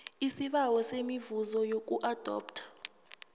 isibawo semivuzo yokuadoptha